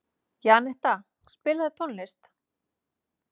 Janetta, spilaðu tónlist.